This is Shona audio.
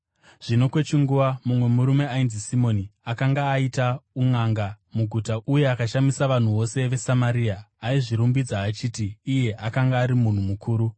Zvino kwechinguva mumwe murume ainzi Simoni akanga aita unʼanga muguta uye akashamisa vanhu vose veSamaria. Aizvirumbidza achiti iye akanga ari munhu mukuru,